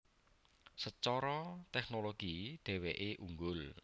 Secara tehnologi dheweke unggul